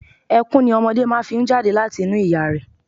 Ẹkún ni ọmọdé fi máa ń jáde láti inú ìyá rẹ̀.